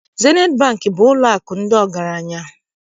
Zenit Bankị bụ ụlọakụ ndị ọgaranya.